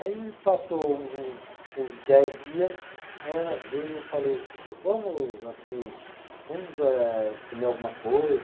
Aí passou uns uns dez dias, aí ela veio, eu falei, vamos, assim, vamos eh comer alguma coisa?